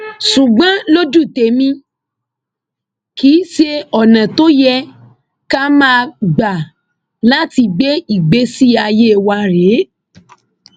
ṣùgbọn lójú tẹmí kì í ṣe ọnà tó yẹ ká máa gbà láti gbé ìgbésí ayé wa rèé